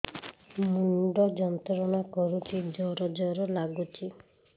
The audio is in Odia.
ମୁଣ୍ଡ ଯନ୍ତ୍ରଣା କରୁଛି ଜର ଜର ଲାଗୁଛି